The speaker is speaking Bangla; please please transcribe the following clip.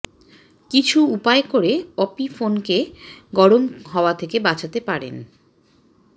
কিছু উপায় করে অপি ফোন কে গরম হওয়া থেকে বাচাতে পারেন